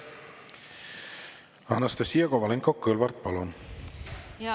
Anastassia Kovalenko-Kõlvart, palun!